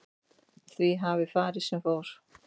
Því hafi farið sem fór